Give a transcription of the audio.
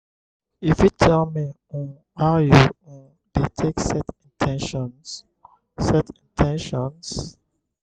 you fit tell me um how you um dey take set in ten tions? set in ten tions?